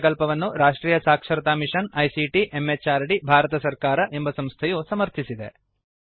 ಈ ಪ್ರಕಲ್ಪವನ್ನು ರಾಷ್ಟ್ರಿಯ ಸಾಕ್ಷರತಾ ಮಿಶನ್ ಐಸಿಟಿ ಎಂಎಚಆರ್ಡಿ ಭಾರತ ಸರ್ಕಾರ ಎಂಬ ಸಂಸ್ಥೆಯು ಸಮರ್ಥಿಸಿದೆ